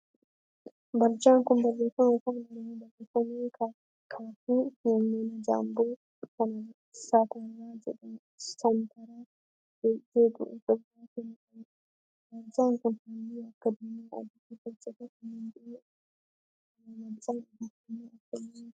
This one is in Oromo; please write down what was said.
Barjaan kun barreeffama afaan oromoon barreeffame kaaffee fi mana jaamboo seentaraa jedhu of irraa kan qabudha. Barjaan kun halluu akka diimaa, adii, gurraachaa fi kanneen biroo of irraa qaba. Barjaan odeeffannoo akkamii dabarsa?